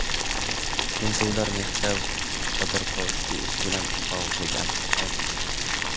Tintuvlar Mixail Xodorkovskiy ishi bilan bog‘liqligi aytilgan.